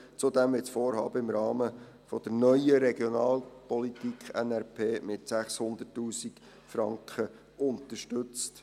Zudem wird das Vorhaben im Rahmen der Neuen Regionalpolitik (NRP) mit 600 000 Franken unterstützt.